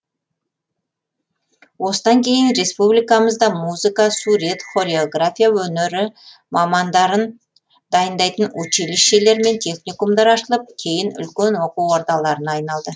осыдан кейін республикамызда музыка сурет хореография өнері мамандарын дайындайтын училищелер мен техникумдар ашылып кейін үлкен оқу ордаларына айналды